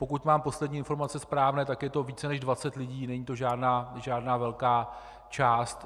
Pokud mám poslední informace správné, tak je to více než 20 lidí, není to žádná velká část.